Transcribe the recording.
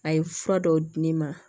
A ye fura dɔw di ne ma